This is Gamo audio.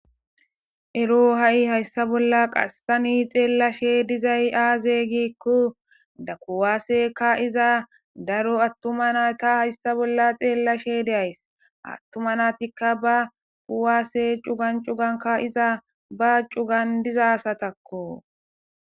ero ha7i hayssa bolla qassani xeellashe dizay aaze giikko da kuwaaseka iza daro attuma na ta hayssa bolla xeellashe deays attuma naatikka ba huwaasse cugan cuganka iza ba cugan diza asatakko